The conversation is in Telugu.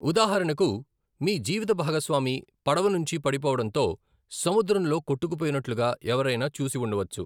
ఉదాహరణకు, మీ జీవితభాగస్వామి పడవ నుంచి పడిపోవడంతో సముద్రంలో కొట్టుకుపోయినట్లుగా ఎవరైనా చూసి ఉండవచ్చు.